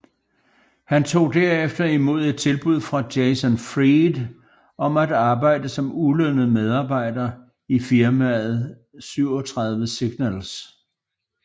Han tog derefter imod et tilbud fra Jason Fried om at arbejde som ulønnet medejer i firmaet 37signals